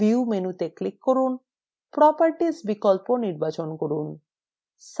view মেনুতে click করুন properties বিকল্প নির্বাচন করুন